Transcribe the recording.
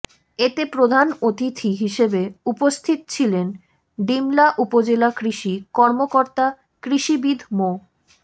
এতে প্রধান অতিথি হিসেবে উপস্থিত ছিলেন ডিমলা উপজেলা কৃষি কর্মকর্তা কৃষিবিদ মো